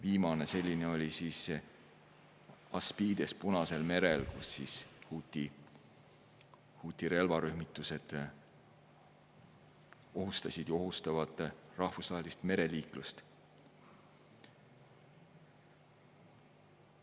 Viimane selline oli ASPIDES Punasel merel, kus huthi relvarühmitused ohustasid ja ohustavad rahvusvahelist mereliiklust.